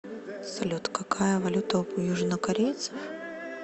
салют какая валюта у южнокорейцев